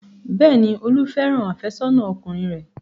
Bẹ́ẹ̀ni, Olú fẹ́ràn àfẹ́sọ́nà ọkùnrin rẹ̀.